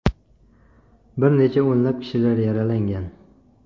Bir necha o‘nlab kishilar yaralangan.